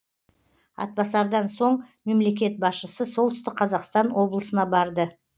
атбасардан соң мемлекет басшысы солтүстік қазақстан облысына барды